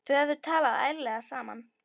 Þau hefðu talað ærlega saman.